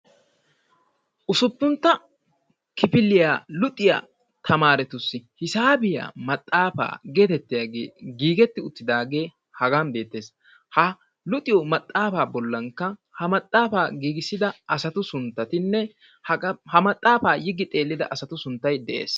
Usuppuntta kifiliya luxiya tamaaretussi hisaabiya maxaafaa geetettiyagee giigetti uttidaagee hagan beettees. Ha luxiyo maxaafaa bollankka ha maxaafaa giigissida asatu sunttatinne haqa ha maxaafaa yiggi xeellida asatu sunttay de'ees.